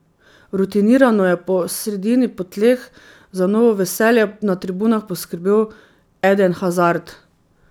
Rutinirano je po sredini po tleh za novo veselje na tribunah poskrbel Eden Hazard.